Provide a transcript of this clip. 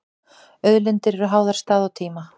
Auðlindir eru háðar stað og tíma.